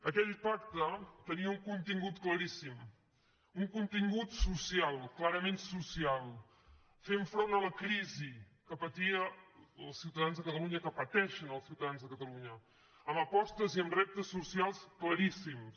aquell pacte tenia un contingut claríssim un contingut social clarament social fent front a la crisi que patien els ciutadans de catalunya que pateixenciutadans de catalunya amb apostes i amb reptes socials claríssims